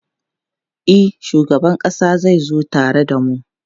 E, shugaban ƙasa zai zo tare da mu.